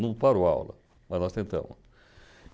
Não para o aula, mas nós tentamos.